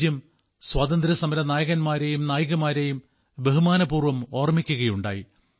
രാജ്യം സ്വാതന്ത്ര്യസമര നായകന്മാരെയും നായികമാരെയും ബഹുമാനപൂർവ്വം ഓർമ്മിക്കുകയുണ്ടായി